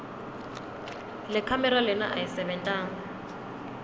lekhamera lena ayisebentanga